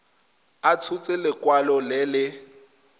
a tshotse lekwalo le le